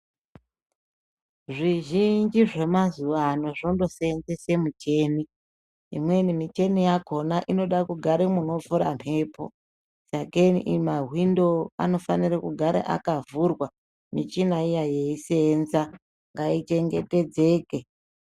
Zvizhinji zvemazuwa ano zvondosenzese micheni ,imweni micheni yakona inoda kugara munofura mhepo sakeni mahwindo anofanire kugara akavhurwa michina iya yeisenza ngaichengetedzeke.